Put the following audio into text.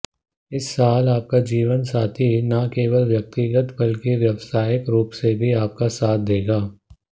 इस साल आपका जीवनसाथी न केवल व्यक्तिगत बल्कि व्यवसायिक रूप से भी आपका साथ देगा